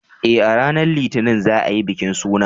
Eh, a ranar Litinin za a yi bikin sunan.